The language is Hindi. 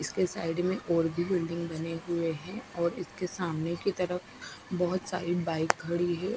इसके साइड मे और भी बिल्डिंग बने हुए है और इसके सामने की तरफ बहोत सारी बाइक खड़ी है।